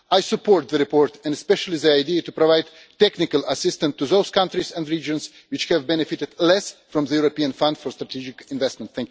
I support the report and especially the idea of providing technical assistance to those countries and regions which have benefited less from the European Fund for Strategic Investments.